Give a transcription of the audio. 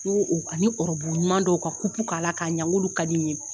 N k'u ani ɔrɔbu ɲuman dɔ u ka kupu k'a la k'a ɲa n k'ulu ka di n ɲe.